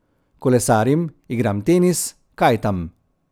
Kolesarim, igram tenis, kajtam ...